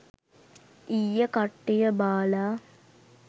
ඊයෙ කට්ටිය බාලා